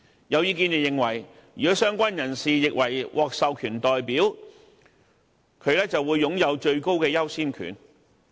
有意見認為，如果相關人士獲認為是獲授權代表便會擁有最高的優先權。